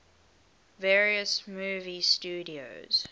various movie studios